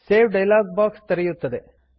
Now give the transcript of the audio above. save dialog box ತೆರೆಯುತ್ತದೆ